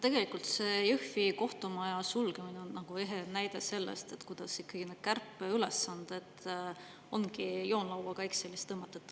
Tegelikult Jõhvi kohtumaja sulgemine on ehe näide sellest, kuidas ikkagi need kärpeülesanded ongi joonlauaga Excelis tõmmatud.